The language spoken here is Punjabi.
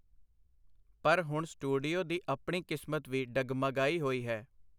ਪਰ ਹੁਣ ਸਟੂਡੀਓ ਦੀ ਆਪਣੀ ਕਿਸਮਤ ਵੀ ਡਗਮਗਾਈ ਹੋਈ ਹੈ.